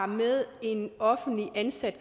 med en